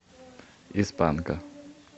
из панка